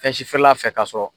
Fɛn si feerela ka sɔrɔ